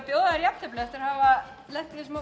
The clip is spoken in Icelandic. bjóða þér jafntefli eftir að hafa lent í þessum